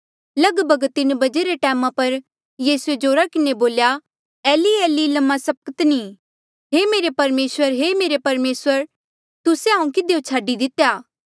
लगभग तीन बजे रे टैमा पर यीसूए जोरा किन्हें बोल्या एली एली लमा सबक्तनी हे मेरे परमेसर हे मेरे परमेसर तुस्से हांऊँ किधियो छाडी दितेया